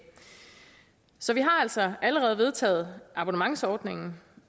så vi har altså allerede vedtaget abonnementsordningen